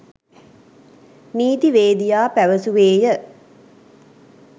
නීතිවේදියා පැවසුවේය